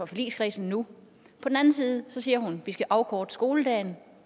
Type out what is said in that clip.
forligskredsen nu på den anden side siger hun vi skal afkorte skoledagen